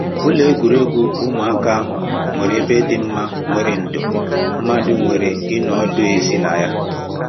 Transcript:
Ụlọ egwuregwu ụmụaka ahụ nwere ebe dị mma nwere ndo mmadụ nwere ịnọ ọdụ ezi na ya